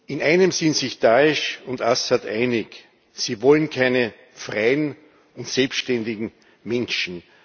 In einem sind sich Da'esh und Assad einig Sie wollen keine freien und selbständigen Menschen.